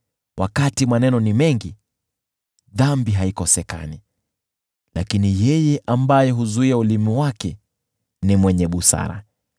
Wakati maneno ni mengi, dhambi haikosekani, lakini yeye ambaye huzuia ulimi wake ni mwenye busara.